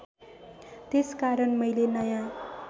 त्यसकारण मैले नयाँ